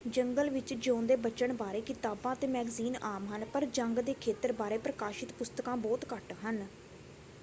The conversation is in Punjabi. ਜੰਗਲ ਵਿੱਚ ਜਿਊਂਦੇ ਬਚਣ ਬਾਰੇ ਕਿਤਾਬਾਂ ਅਤੇ ਮੈਗਜ਼ੀਨ ਆਮ ਹਨ ਪਰ ਜੰਗ ਦੇ ਖੇਤਰ ਬਾਰੇ ਪ੍ਰਕਾਸ਼ਿਤ ਪੁਸਤਕਾਂ ਬਹੁਤ ਘੱਟ ਹਨ।